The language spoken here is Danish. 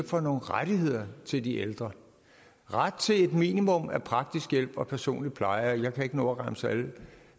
for nogle rettigheder til de ældre ret til et minimum af praktisk hjælp og personlig pleje og jeg kan ikke nå at remse